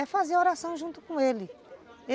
É fazer oração junto com ele.